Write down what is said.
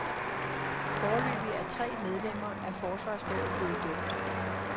Foreløbig er tre medlemmer af forsvarsrådet blevet dømt.